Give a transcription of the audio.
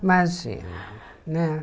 Imagina, né?